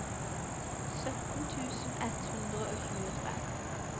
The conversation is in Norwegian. sytten tusen ett hundre og tjuetre